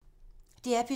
DR P2